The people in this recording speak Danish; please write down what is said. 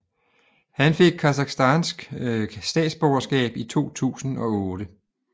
Han fik Kasakhstansk statsborgerskab i 2008